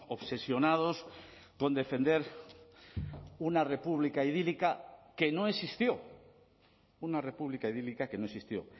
obsesionados con defender una república idílica que no existió una república idílica que no existió